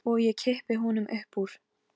Hemmi mun greiða meðlag með Tómasi.